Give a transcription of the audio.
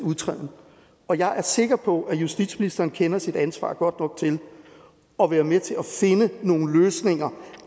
udtræden og jeg er sikker på at justitsministeren kender sit ansvar godt nok til at være med til at finde nogle løsninger